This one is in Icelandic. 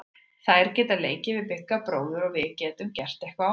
Þær geta leikið við Bigga bróður og við getum gert eitthvað á meðan.